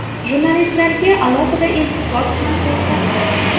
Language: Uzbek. Jurnalistlarga alohida iltifot ham ko‘rsatdi.